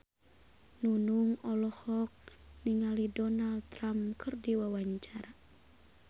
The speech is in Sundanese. Nunung olohok ningali Donald Trump keur diwawancara